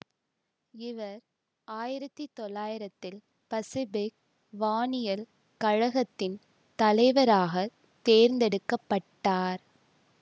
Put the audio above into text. இவர் ஆயிரத்தி தொள்ளாயிரத்தில் பசிபிக் வானியல் கழகத்தின் தலைவராக தேர்ந்தெடுக்க பட்டார்